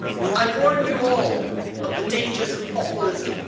I warn you all of the dangers of populism.